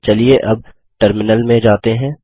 चलिए अब टर्मिनल में जाते हैं